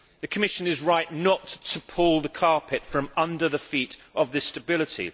The Commission is right not to pull the carpet from under the feet of this stability.